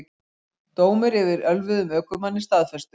Dómur yfir ölvuðum ökumanni staðfestur